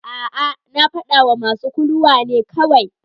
A'a, na fadawa masu kuluwa ne kawai.